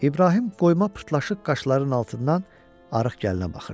İbrahim qoyma pırtlaşıq qaşlarının altından arıq gəlinə baxırdı.